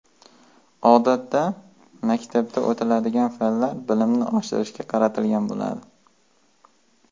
Odatda, maktabda o‘tiladigan fanlar bilimni oshirishga qaratilgan bo‘ladi.